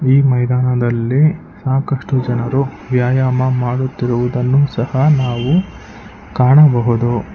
ಈ ಮೈದಾನದಲ್ಲಿ ಸಾಕಷ್ಟು ಜನರು ವ್ಯಾಯಾಮ ಮಾಡುತ್ತಿರುವುದನ್ನು ಸಹ ನಾವು ಕಾಣಬಹುದು.